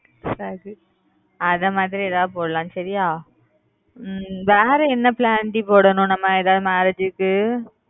சரி அந்த மாதிரி ஏதாவது போடலாம் சரியா ஹம் வேற என்ன plan டி போடணும் நம்ம ஏதாவது marriage க்கு